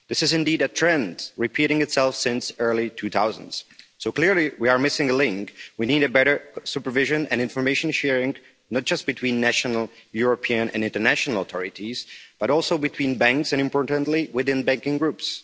This is indeed a trend, repeating itself since the early 2000s. So clearly we are missing a link. We need better supervision and information sharing, not just between national, European and international authorities, but also between banks and, importantly, within banking groups.